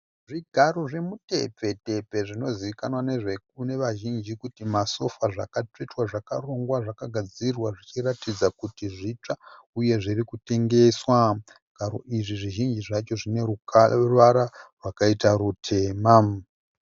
Zvigaro zvemitembetembe zvinozivikana nevazhinji kuti masofa zvakatsvetwa zvakarongwa, zvakagadzirwa zvichiratidza kuti zvitsva uyezve zvirikutengeswa. Zvigaro izvi zvineruvara rwakaita rutema.